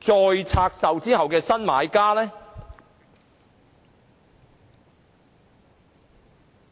再拆售後的新買家？